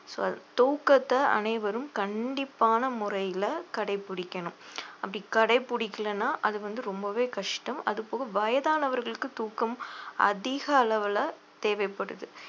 so தூக்கத்தை அனைவரும் கண்டிப்பான முறையில கடைபிடிக்கணும் அப்படி கடைப்பிடிக்கலைன்னா அது வந்து ரொம்பவே கஷ்டம் அது போக வயதானவர்களுக்கு தூக்கம் அதிக அளவுல தேவைப்படுது